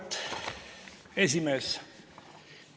Auväärt esimees!